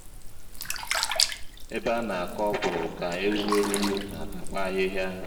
ebe anakọ ọkwụrụ ka eghu/ewu n'atakwa ahịhịa